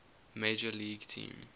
major league team